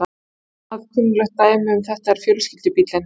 Annað kunnuglegt dæmi um þetta er fjölskyldubíllinn.